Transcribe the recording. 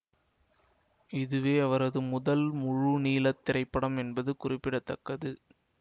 இதுவே அவரது முதல் முழுநீள திரைப்படம் என்பது குறிப்பிட தக்கது